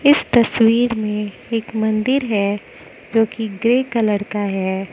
इस तस्वीर में एक मंदिर है जो की ग्रे कलर का है।